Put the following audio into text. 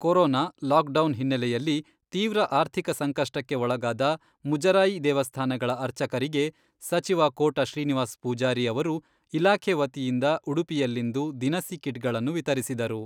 Corona, lockdown ಹಿನ್ನೆಲೆಯಲ್ಲಿ ತೀವ್ರ ಆರ್ಥಿಕ ಸಂಕಷ್ಟಕ್ಕೆ ಒಳಗಾದ ಮುಜರಾಯಿ ದೇವಸ್ಥಾನಗಳ ಅರ್ಚಕರಿಗೆ ಸಚಿವ ಕೋಟ ಶ್ರೀನಿವಾಸ್ ಪೂಜಾರಿ ಅವರು ಇಲಾಖೆ ವತಿಯಿಂದ ಉಡುಪಿಯಲ್ಲಿಂದು ದಿನಸಿ ಕಿಟ್ಗಳನ್ನು ವಿತರಿಸಿದರು.